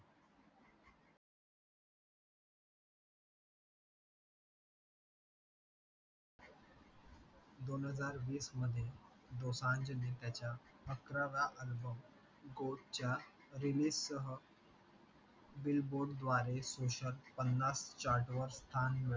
दोन हजार वीस मध्ये दोघांचे नेत्याच्या अकरावा ALBUM चय़ा रिलीज सह BILL BOARD द्वारे सोशल पन्नास चाट वर स्थान मिळवले